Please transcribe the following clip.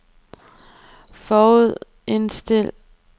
forudindstil